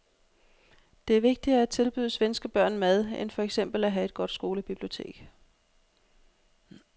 Det er vigtigere at tilbyde svenske børn mad end for eksempel at have et godt skolebibliotek.